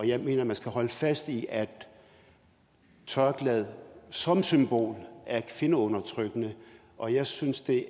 jeg mener at man skal holde fast i at tørklædet som symbol er kvindeundertrykkende og jeg synes det